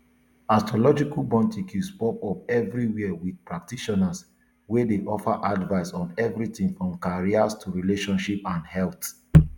astrological boutiques pop up evriwia with practitioners wey dey offer advice on evritin from careers to relationships and health